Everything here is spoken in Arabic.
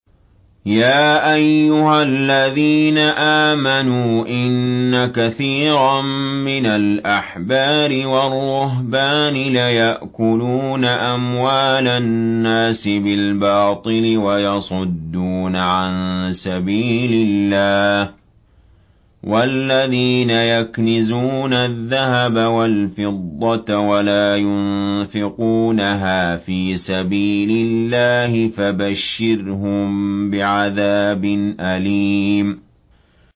۞ يَا أَيُّهَا الَّذِينَ آمَنُوا إِنَّ كَثِيرًا مِّنَ الْأَحْبَارِ وَالرُّهْبَانِ لَيَأْكُلُونَ أَمْوَالَ النَّاسِ بِالْبَاطِلِ وَيَصُدُّونَ عَن سَبِيلِ اللَّهِ ۗ وَالَّذِينَ يَكْنِزُونَ الذَّهَبَ وَالْفِضَّةَ وَلَا يُنفِقُونَهَا فِي سَبِيلِ اللَّهِ فَبَشِّرْهُم بِعَذَابٍ أَلِيمٍ